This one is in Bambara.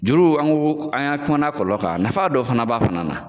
Juru an ko an kumana a nafa ka , nafa dɔ fana b'a fana na.